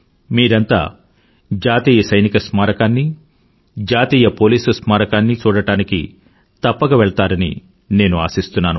మీరంతా జాతీయ సైనిక స్మారకాన్నీ జాతీయ పోలీసు స్మారకాన్నీ చూడడానికి తప్పక వెళ్తారని నేను ఆశిస్తున్నాను